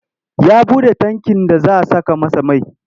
Ya buɗe tankin za a saka masa mai.